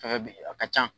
Fɛngɛ bɛ a ka ca